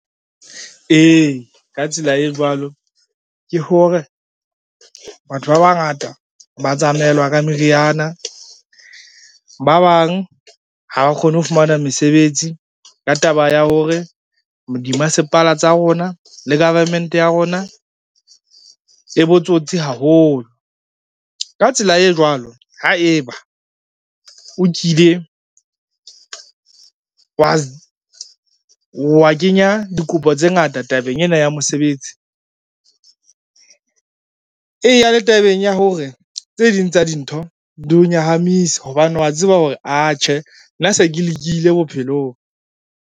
Ee, ka tsela e jwalo, ke hore batho ba bangata ba tsamaelwa ka meriana, ba bang ha ba kgone ho fumana mesebetsi ka taba ya hore bo dimasepala tsa rona le government ya rona e botsotsi haholo. Ka tsela e jwalo, haeba o kile wa kenya dikopo tse ngata tabeng ena ya mosebetsi, eya le tabeng ya hore tse ding tsa dintho di o nyahamise hobane wa tseba hore atjhe, nna se ke lekile bophelong.